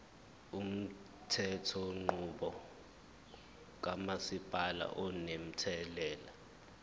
umthethonqubo kamasipala unomthelela